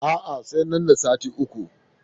A'a, sai nan da sati uku.